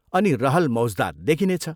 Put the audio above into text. अनि रहल मौज्दात देखिने छ।